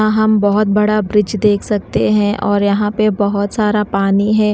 वहा हम बहोत बड़ा ब्रिज देख सकते हैं और यहां पे बहुत सारा पानी है।